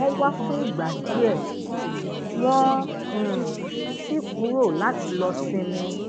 wón wá fúngbà díè wón um si kuro lati lo sinmi